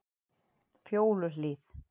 Fjóluhlíð